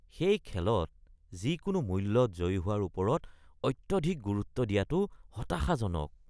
সেই খেলত যিকোনো মূল্যত জয়ী হোৱাৰ ওপৰত অত্যধিক গুৰুত্ব দিয়াটো হতাশাজনক